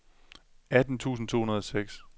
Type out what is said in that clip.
atten tusind to hundrede og seks